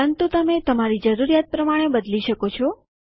પરંતુ તમે તમારી જરૂરિયાત પ્રમાણે બદલી શકો છો